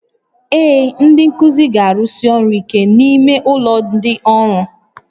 Ee, ndị nkuzi ga-arụsi ọrụ ike n'ime ụlọ ndị ọrụ